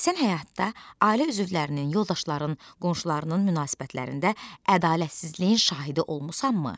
Sən həyatda ailə üzvlərinin, yoldaşlarının, qonşularının münasibətlərində ədalətsizliyin şahidi olmusanmı?